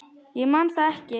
Ég man það ekki.